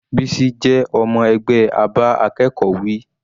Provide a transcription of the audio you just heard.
Bisi jẹ́ ọmọ ẹgbẹ́ a bá akẹ́kọ̀ọ́ wí.